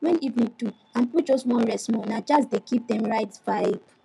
when evening do and people just wan rest small na jazz dey give dem right vibe